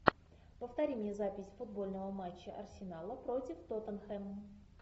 повтори мне запись футбольного матча арсенала против тоттенхэм